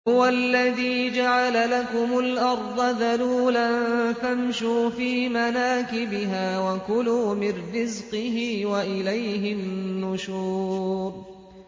هُوَ الَّذِي جَعَلَ لَكُمُ الْأَرْضَ ذَلُولًا فَامْشُوا فِي مَنَاكِبِهَا وَكُلُوا مِن رِّزْقِهِ ۖ وَإِلَيْهِ النُّشُورُ